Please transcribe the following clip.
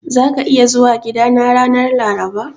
Zaka iya zuwa gidana ranar Laraba?